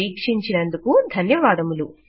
వీక్షించినందుకు ధన్యవాదములు